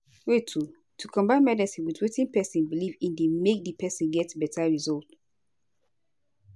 wait o- to combine medicine with wetin pesin belief in dey make di person get beta result